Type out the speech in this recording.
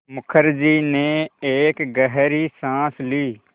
मुखर्जी ने एक गहरी साँस ली